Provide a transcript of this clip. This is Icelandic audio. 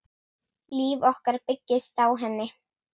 Líf okkar byggist á henni.